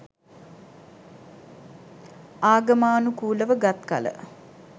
ආගමානුකූලව ගත් කළ